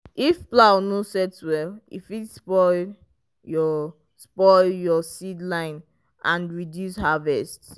if plow no set well e fit spoil your spoil your seed line and reduce harvest.